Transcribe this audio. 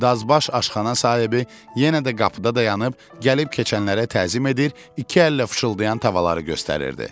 Dazbaş aşxana sahibi yenə də qapıda dayanıb, gəlib keçənlərə təzim edir, iki əllə fışıldayan tavaları göstərirdi.